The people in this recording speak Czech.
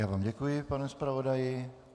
Já vám děkuji, pane zpravodaji.